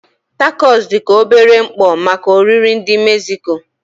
Tacos dị ka obere mkpọ maka oriri ndị Mexico.